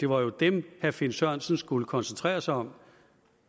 var dem herre finn sørensen skulle koncentrere sig om